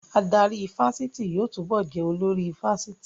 Adarí ifásitì yóò túbọ̀ jẹ́ olórí ifásitì